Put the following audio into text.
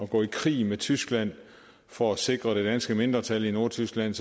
gå i krig mod tyskland for at sikre det danske mindretal i nordtyskland